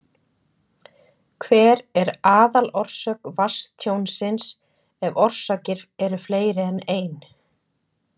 Hver er aðalorsök vatnstjónsins, ef orsakir eru fleiri en ein?